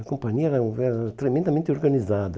A companhia era era tremendamente organizada.